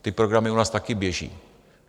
Ty programy u nás taky běží.